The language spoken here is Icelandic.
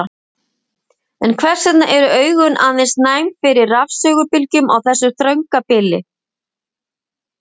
En hvers vegna eru augun aðeins næm fyrir rafsegulbylgjum á þessu þrönga bili?